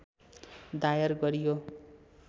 दायर गरियो